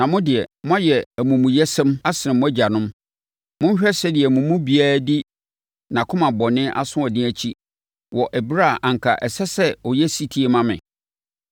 Na mo deɛ, moayɛ amumuyɛsɛm asene mo agyanom. Monhwɛ sɛdeɛ mo mu biara di nʼakoma bɔne asoɔden akyi wɔ ɛberɛ a anka ɛsɛ sɛ ɔyɛ ɔsetie ma me.